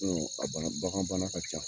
a bana bagan bana ka ca